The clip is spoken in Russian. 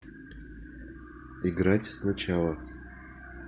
играть сначала